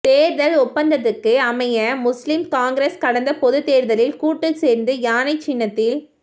தேர்தல் ஒப்பந்தத்துக்கு அமைய முஸ்லிம் காங்கிரஸ் கடந்த பொது தேர்தலில் கூட்டு சேர்ந்து யானை சின்னத்தில்